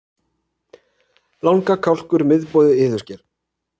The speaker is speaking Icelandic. Langa, Kálkur, Miðboði, Iðusker